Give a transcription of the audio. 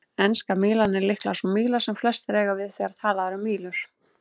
Enska mílan er líklega sú míla sem flestir eiga við þegar talað er um mílur.